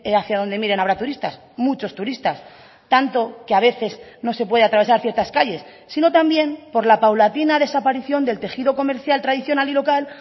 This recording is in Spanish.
hacia donde miren habrá turistas muchos turistas tanto que a veces no se puede atravesar ciertas calles sino también por la paulatina desaparición del tejido comercial tradicional y local